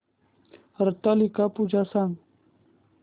हरतालिका पूजा सांग